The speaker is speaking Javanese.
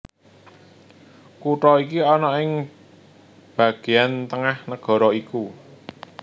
Kutha iki ana ing bagéan tengah nagara iku